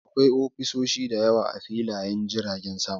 Akwai ofisoshi da yawa a filiyen jirgin sama.